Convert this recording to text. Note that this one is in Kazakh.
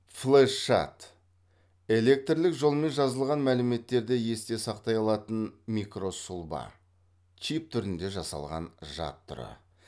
флеш жад электрлік жолмен жазылған мәліметтерді есте сақтай алатын микросұлба түрінде жасалған жад түрі